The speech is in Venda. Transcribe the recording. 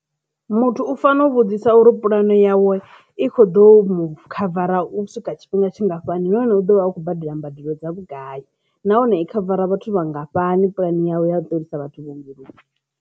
Muthu u fanela u vhudzisa uri pulane yawe i kho ḓo khavara u swika tshifhinga tshingafhani nahone u ḓo vha vha khou badela mbadelo dza vhugai nahone i khavara vhathu vhangafhani pulani yawe ya u ḓisa vhathu vhuongeloni.